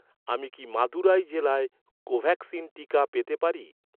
আমি কি মাদুরাই জেলায় কোভ্যাক্সিন টিকা পেতে পারি?